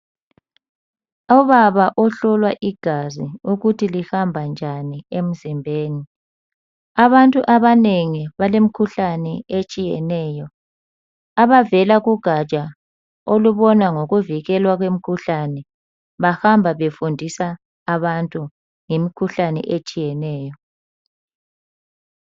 Ubaba ohlolwa igazi ukuthi lihamba njani emzimbeni. Abantu abanengi balemikhuhlane etshiyeneyo. Abaveka kugatsha olubona ngokuvikelwa kwemikhuhlane bahamba befundisa abantu ngemikhuhlane etshiyeneyo.